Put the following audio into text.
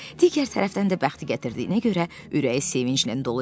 Digər tərəfdən də bəxti gətirdiyinə görə ürəyi sevinclə dolu idi.